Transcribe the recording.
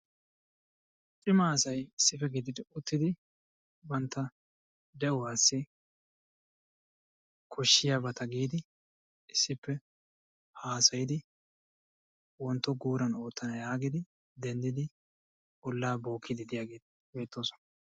Cima asay issippe gididi uttidi bantta de'uwassi koshshiyabata giidi issippe haasayidi wontto guuran oottana yaagidi denddidi ollaa bookkiiddi diyageeti beettoosona.